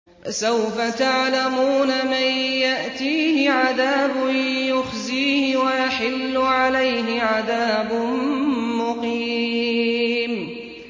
فَسَوْفَ تَعْلَمُونَ مَن يَأْتِيهِ عَذَابٌ يُخْزِيهِ وَيَحِلُّ عَلَيْهِ عَذَابٌ مُّقِيمٌ